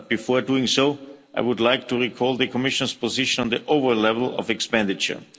But before doing so, I would like to recall the Commission's position on the overall level of expenditure.